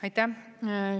Aitäh!